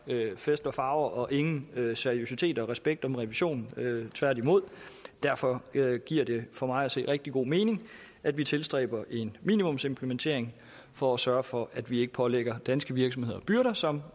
fest og farver og ingen seriøsitet og respekt om revisionen tværtimod derfor giver giver det for mig at se rigtig god mening at vi tilstræber en minimumsimplementering for at sørge for at vi ikke pålægger danske virksomheder byrder som